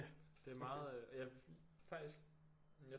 Det er meget øh jeg faktisk